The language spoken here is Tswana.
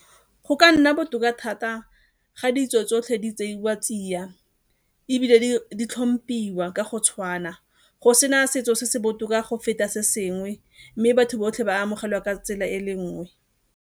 Go ka nna botoka thata ga ditso tsotlhe di tseiwa tsia, ebile di tlhomphiwa ka go tshwana, go sena setso se se botoka go feta se sengwe mme batho botlhe ba amogelwa ka tsela e le nngwe.